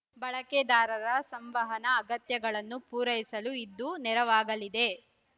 ಬಳಕೆದಾರರ ಸಂವಹನ ಅಗತ್ಯಗಳನ್ನು ಪೂರೈಸಲು ಇದು ನೆರವಾಗಲಿದೆ